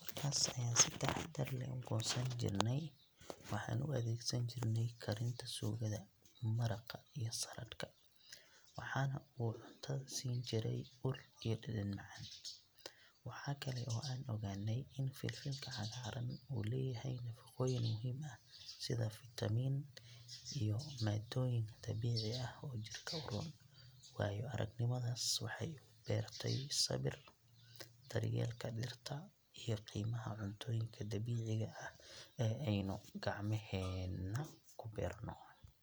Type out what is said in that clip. markaas ayaan si taxaddar leh u goosan jirnay. Waxaan u adeegsan jirnay karinta suugada, maraqa iyo saladhka, waxaana uu cuntada siin jiray ur iyo dhadhan macaan. Waxa kale oo aan ogaanay in filfilka cagaaran uu leeyahay nafaqooyin muhiim ah sida fiitamiinno iyo maadooyin dabiici ah oo jirka u roon. Waayo-aragnimadaas waxay igu baratay sabirka, daryeelka dhirta iyo qiimaha cuntooyinka dabiiciga ah ee aynu gacmaheena ku beerno.